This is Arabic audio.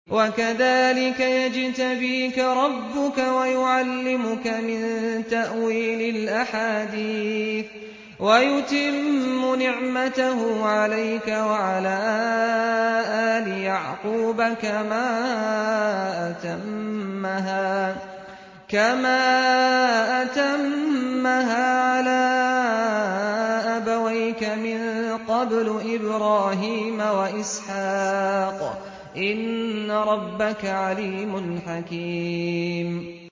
وَكَذَٰلِكَ يَجْتَبِيكَ رَبُّكَ وَيُعَلِّمُكَ مِن تَأْوِيلِ الْأَحَادِيثِ وَيُتِمُّ نِعْمَتَهُ عَلَيْكَ وَعَلَىٰ آلِ يَعْقُوبَ كَمَا أَتَمَّهَا عَلَىٰ أَبَوَيْكَ مِن قَبْلُ إِبْرَاهِيمَ وَإِسْحَاقَ ۚ إِنَّ رَبَّكَ عَلِيمٌ حَكِيمٌ